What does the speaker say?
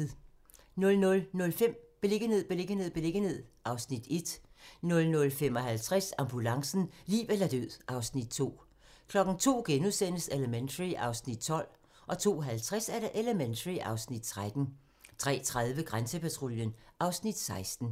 00:05: Beliggenhed, beliggenhed, beliggenhed (Afs. 1) 00:55: Ambulancen - liv eller død (Afs. 2) 02:00: Elementary (Afs. 12)* 02:50: Elementary (Afs. 13) 03:30: Grænsepatruljen (Afs. 16)